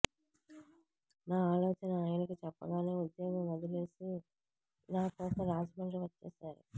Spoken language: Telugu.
నా ఆలోచన ఆయనకు చెప్పగానే ఉద్యోగం వదిలేసి నాకోసం రాజమండ్రి వచ్చేశారు